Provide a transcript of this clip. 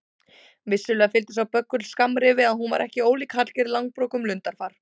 Vissulega fylgdi sá böggull skammrifi að hún var ekki ólík Hallgerði Langbrók um lundarfar.